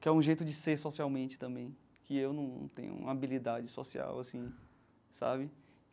Que é o jeito de ser socialmente também, que eu não tenho uma habilidade social, assim, sabe?